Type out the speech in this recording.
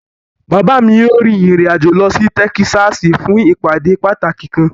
Baba mi yoo rin irin ajo lọ si Tẹkisasi fun ipade pataki kan